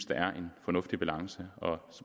der er en fornuftig balance